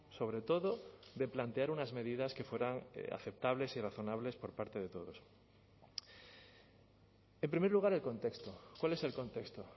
sobre todo de plantear unas medidas que fueran aceptables y razonables por parte de todos en primer lugar el contexto cuál es el contexto